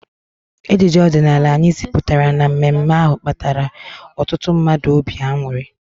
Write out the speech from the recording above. Ejije ọdịnala anyị ziputara na mme mme ahụ kpara ọtụtụ mmadụ obi anuri